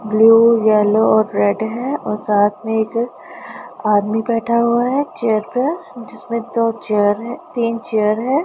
Blue yellow red है और साथ में एक दुकान आदमी बैठा हुआ है चेयर पे जिसमें दो चेयर है तीन चेयर है।